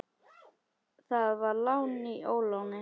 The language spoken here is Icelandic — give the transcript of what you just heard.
Það var lán í óláni.